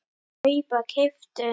kaupa- keyptu